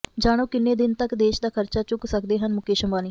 ਜਾਣੋ ਕਿੰਨੇ ਦਿਨ ਤਕ ਦੇਸ਼ ਦਾ ਖਰਚਾ ਚੁੱਕ ਸਕਦੇ ਹਨ ਮੁਕੇਸ਼ ਅੰਬਾਨੀ